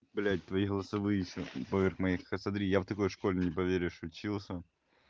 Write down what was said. блядь твои голосовые все поверх моих смотри я в такой школе не поверишь учился